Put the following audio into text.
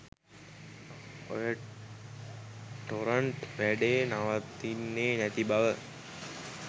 ඔය ටොරන්ට් වැඩේ නවතින්නේ නැති බව.